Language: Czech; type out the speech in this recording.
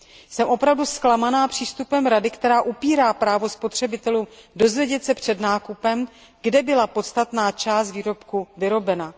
Jsem opravdu zklamaná přístupem Rady, která upírá spotřebitelům právo dozvědět se před nákupem, kde byla podstatná část výrobku vyrobena.